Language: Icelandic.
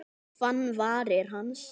Og fann varir hans.